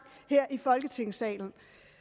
her i folketingssalen